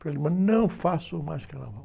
não faço mais carnaval.